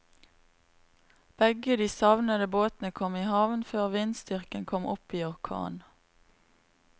Begge de savnede båtene kom i havn før vindstyrken kom opp i orkan.